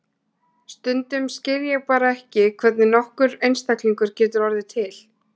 Stundum skil ég bara ekki hvernig nokkur einstaklingur getur orðið til.